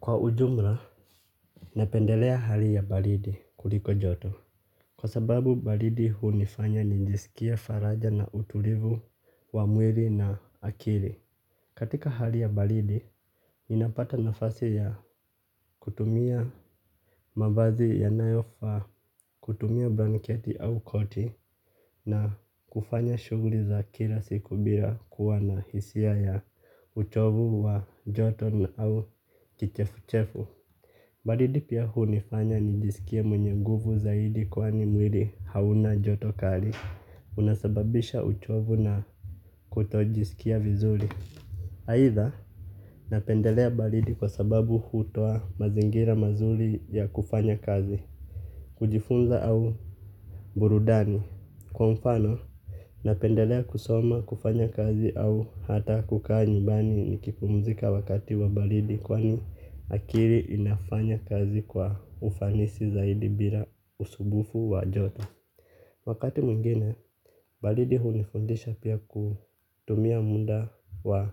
Kwa ujumla, napendelea hali ya baridi kuliko joto. Kwa sababu, baridi hunifanya nijiiskie faraja na utulivu wa mwili na akili. Katika hali ya baridi, ninapata nafasi ya kutumia mavazi ya nayofaa kutumia blanketi au koti na kufanya shughuli za kila siku bila kuwa na hisia ya uchovu wa joto na au kichefu-chefu. Baridi pia hunifanya nijisikie mwenye nguvu zaidi kwani mwili hauna joto kali. Unasababisha uchovu na kutojisikia vizuri. Haidha, napendelea baridi kwa sababu hutoa mazingira mazuri ya kufanya kazi. Kujifunza au burudani. Kwa mfano, napendelea kusoma, kufanya kazi au hata kukaa nyumbani nikipumzika wakati wa baridi. Kwani akili inafanya kazi kwa ufanisi zaidi bila usumbufu wa joto. Wakati mwingine, baridi hunifundisha pia kutumia muda wa